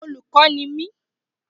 Olùkọ́ ni mi